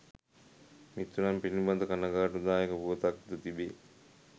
මිතුරන් පිලිබඳ කණගාටුදායක පුවතක් ද තිබේ.